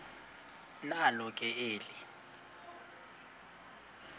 nalo ke eli